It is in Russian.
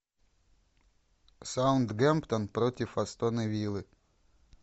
саутгемптон против астон виллы